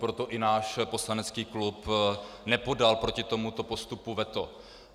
Proto i náš poslanecký klub nepodal proti tomuto postupu veto.